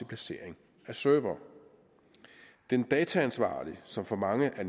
placering af servere den dataansvarlige som for mange af